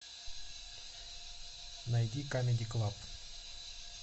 найди камеди клаб